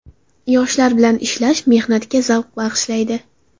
Yoshlar bilan ishlash menga zavq bag‘ishlaydi.